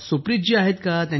सुप्रीत जी आहेत का